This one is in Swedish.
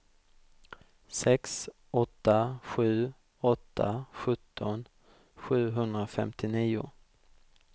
sex åtta sju åtta sjutton sjuhundrafemtionio